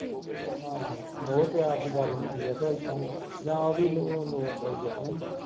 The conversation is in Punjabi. ਆਹੋ ਮੋਹ ਪਿਆਰ ਦੀ ਗੱਲ ਹੁੰਦੀ ਆ ਕਿਓ ਏਦਾਂ ਜਾਂ ਉਹ ਵੀ ਲੋਰਦਾ ਈ ਐ ਕਿ ਨਹੀਂ